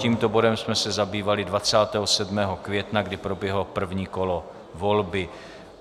Tímto bodem jsme se zabývali 27. května, kdy proběhlo první kolo volby.